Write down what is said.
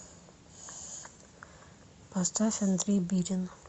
поставь андрей бирин